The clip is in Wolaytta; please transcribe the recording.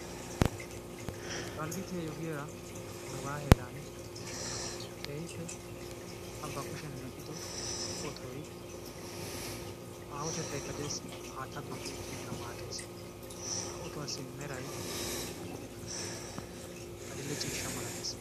Dalggiti ayiyoo giyaara nugaa heeran a ba kushshiyaan mel"ido ootoy aahotettaykka de'ees. Haattaa duuqqi ekkinkka maaddees. Ha ottuwaasi meray adil"e ciishsha malatees.